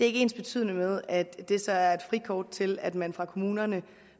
ikke ensbetydende med at det så er et frikort til at man fra kommunerne